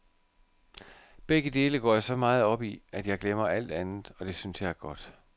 Begge dele går jeg så meget op i, at jeg glemmer alt andet, og det synes jeg er godt.